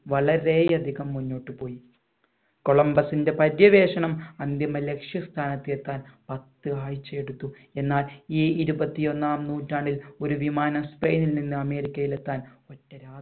വളരെയധികം മുന്നോട്ട് പോയി കൊളംബസ്ന്റെ പര്യവേഷണം അന്തിമ ലക്ഷ്യ സ്ഥാനത്ത് എത്താൻ പത്ത് ആഴ്ചയെടുത്തു എന്നാൽ ഈ ഇരുപത്തി ഒന്നാം നൂറ്റാണ്ടിൽ ഒരു വിമാനം സ്പെയിനിൽ നിന്ന് അമേരിക്കയിൽ എത്താൻ ഒറ്റ രാ